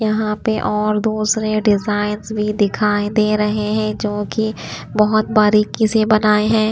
यहां पे और दूसरे डिजाइंस भी दिखाई दे रहे हैं जो कि बहुत बारीकी से बनाए हैं।